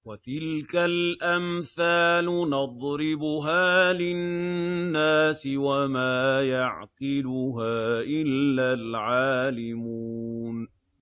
وَتِلْكَ الْأَمْثَالُ نَضْرِبُهَا لِلنَّاسِ ۖ وَمَا يَعْقِلُهَا إِلَّا الْعَالِمُونَ